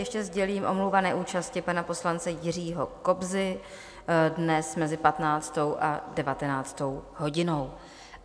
Ještě sdělím omluvu neúčasti pana poslance Jiřího Kobzy dnes mezi 15. a 19. hodinou.